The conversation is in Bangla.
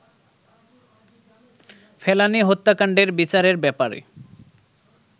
ফেলানি হত্যাকান্ডের বিচারের ব্যাপারে